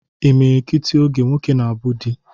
Imilikiti oge, nwoke na-abụ di